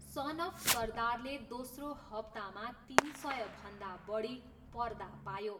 सन of सरदारले दोस्रो हप्तामा तिन सयभन्दा बढी पर्दा पायो।